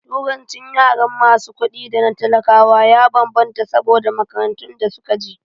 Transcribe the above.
Turancin yaran masu kuɗi da na talakawa ya bambanta saboda makarantun da suka je